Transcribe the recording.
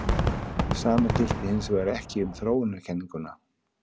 Sama gilti hins vegar ekki um þróunarkenninguna.